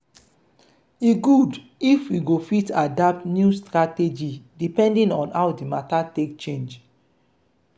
e good if we go fit adapt new strategy depending on how di matter take change